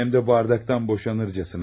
Ya, həm də bardaktan boşanırçasına.